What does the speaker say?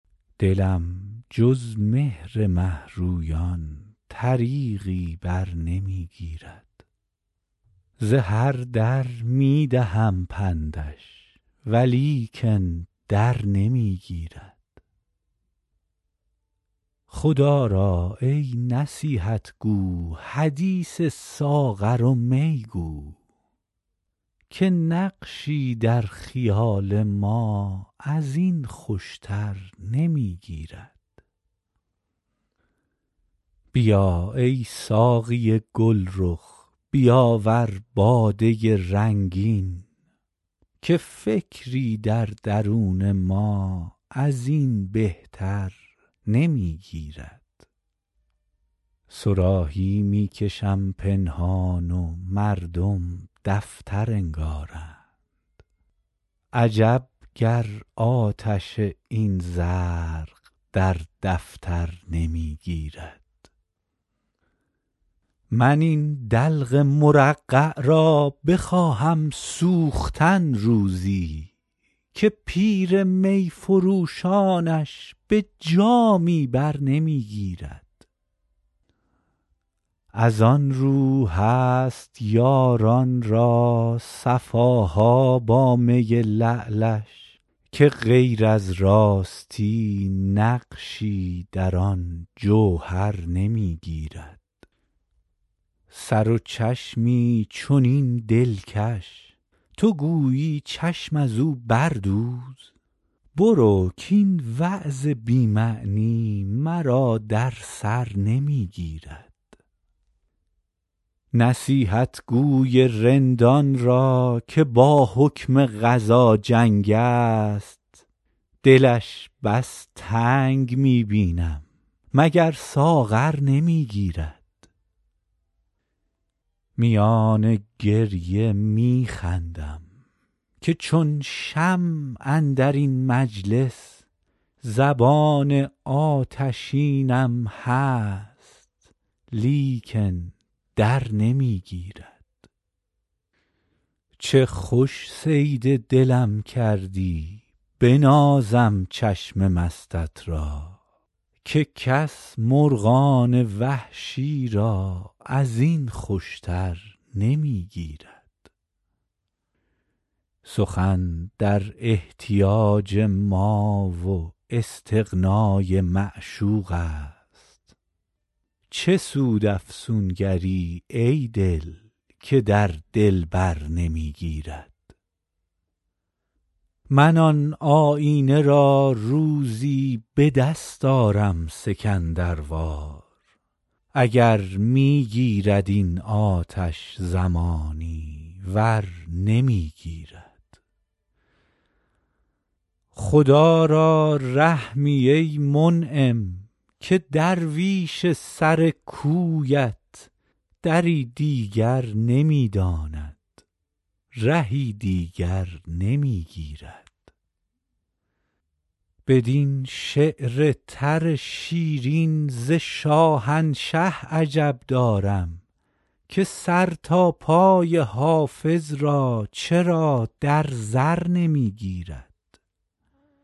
دلم جز مهر مه رویان طریقی بر نمی گیرد ز هر در می دهم پندش ولیکن در نمی گیرد خدا را ای نصیحت گو حدیث ساغر و می گو که نقشی در خیال ما از این خوش تر نمی گیرد بیا ای ساقی گل رخ بیاور باده رنگین که فکری در درون ما از این بهتر نمی گیرد صراحی می کشم پنهان و مردم دفتر انگارند عجب گر آتش این زرق در دفتر نمی گیرد من این دلق مرقع را بخواهم سوختن روزی که پیر می فروشانش به جامی بر نمی گیرد از آن رو هست یاران را صفا ها با می لعلش که غیر از راستی نقشی در آن جوهر نمی گیرد سر و چشمی چنین دلکش تو گویی چشم از او بردوز برو کاین وعظ بی معنی مرا در سر نمی گیرد نصیحتگو ی رندان را که با حکم قضا جنگ است دلش بس تنگ می بینم مگر ساغر نمی گیرد میان گریه می خندم که چون شمع اندر این مجلس زبان آتشینم هست لیکن در نمی گیرد چه خوش صید دلم کردی بنازم چشم مستت را که کس مرغان وحشی را از این خوش تر نمی گیرد سخن در احتیاج ما و استغنا ی معشوق است چه سود افسونگر ی ای دل که در دلبر نمی گیرد من آن آیینه را روزی به دست آرم سکندر وار اگر می گیرد این آتش زمانی ور نمی گیرد خدا را رحمی ای منعم که درویش سر کویت دری دیگر نمی داند رهی دیگر نمی گیرد بدین شعر تر شیرین ز شاهنشه عجب دارم که سر تا پای حافظ را چرا در زر نمی گیرد